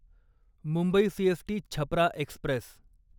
Mumbai CST Chhapra Express